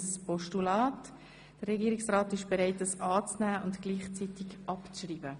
Der Regierungsrat ist bereit, das Postulat anzunehmen und gleichzeitig abzuschreiben.